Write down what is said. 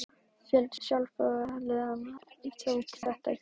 Fjöldi sjálfboðaliða tók þátt í framreiðslu og uppvaski.